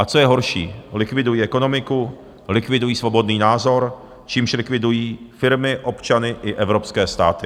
A co je horší, likvidují ekonomiku, likvidují svobodný názor, čímž likvidují firmy, občany i evropské státy.